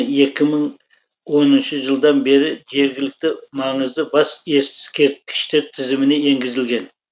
екі мың оныншы жылдан бері жергілікті маңызы бас ескерткіштер тізіміне енгізілген